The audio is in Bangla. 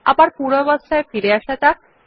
আবার পূর্বাবস্থায় ফিরে আসা যাক